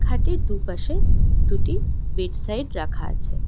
খাটটির দুপাশে দুটি bedside রাখা আছে।